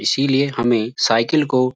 इसलिए हमें साइकिल को --